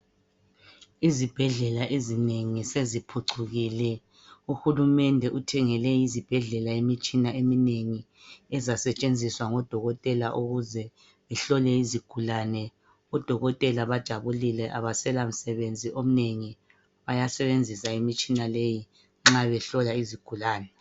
Izibhedlela ezinengi seziphucukile. Uhulumende uthengele izibhedlela imitshina eminengi. Ezasetshenziswa ngodokotela ukuze ihlolwe izigulane. Odokotela bajabulile abasela msebenzi omnengi bayasebenzisa imitshina leyi nxa behlola izigulani.